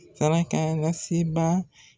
Sarakalasebaa.